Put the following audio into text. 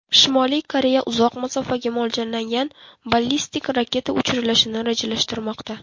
Shimoliy Koreya uzoq masofaga mo‘ljallangan ballistik raketa uchirilishini rejalashtirmoqda.